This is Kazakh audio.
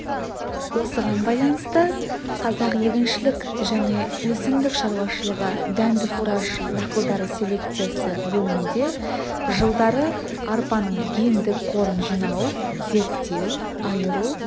осыған байланысты қазақ егіншілік және өсімдік шаруашылығы дәнді-фураж дақылдары селекциясы бөлімінде жылдары арпаның гендік қорын жинау зерттеу айыру